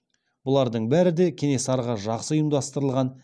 бұлардың бәрі де кенесарыға жақсы ұйымдастырылған